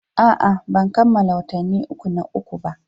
A'a, ban kammala watanni uku na uku ba.